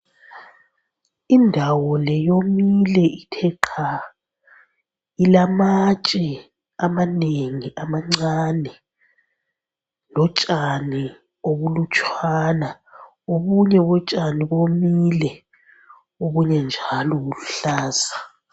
Indawo le yomile ithe qha. Ilamatshe amanengi amancane lotshani obulutshwana. Obunye botshani bomile, obunye njalo buluhlaza.